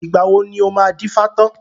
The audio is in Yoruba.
Ìgbà wo ni o máa dífá tán